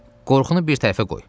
Qorxunu bir tərəfə qoy.